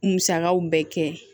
Musakaw bɛɛ kɛ